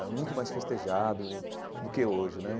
Era muito mais festejado do que hoje né.